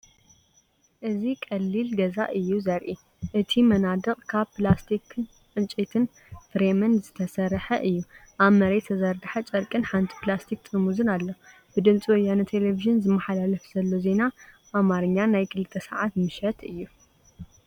እዚ ቀሊል ገዛእዩ ዘርኢ። እቲ መናድቕ ካብ ፕላስቲክን ዕንጨይቲ ፍሬምን ዝተሰርሐ እዩ። ኣብ መሬት ዝተዘርግሐ ጨርቂን ሓንቲ ፕላስቲክ ጥርሙዝን ኣሎ። ብ ድምፂ ወያነ ቴሌቭዥን ዝመሓላለፍ ዘሎ ዜና ኣማርኛ ናይ ክልተ ሰዓት ምሽት እይ።